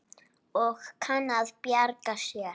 Og kann að bjarga sér.